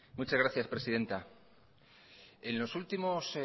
muchas gracias presidenta en lo últimos